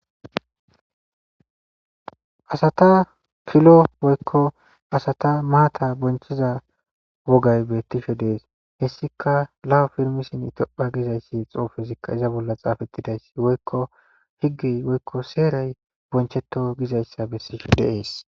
Asata pilo woykko asata maata bonchiza wogay bettishe dees hessika lawa pirmisin itopha gizayssi xoofesikka iza bolla xaafettidayssi woykko higgey woykko seeray bonchetto gizayssa bessishe deees